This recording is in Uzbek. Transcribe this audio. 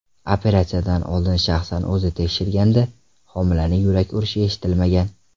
Operatsiyadan oldin shaxsan o‘zi tekshirganda homilaning yurak urishi eshitilmagan.